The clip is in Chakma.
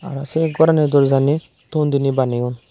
arw se gorani dorjanit ton dine baneyon.